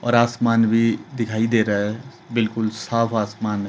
और आसमान भी दिखाई दे रहा है बिल्कुल साफ आसमान--